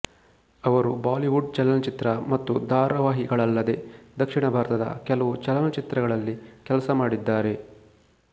ಅವರು ಬಾಲಿವುಡ್ ಚಲನಚಿತ್ರ ಮತ್ತು ಧಾರವಾಹಿಗಳಲ್ಲದೆ ದಕ್ಷಿಣ ಭಾರತದ ಕೆಲವು ಚಲನಚಿತ್ರಗಳಲ್ಲಿ ಕೆಲಸ ಮಾಡಿದ್ದಾರೆ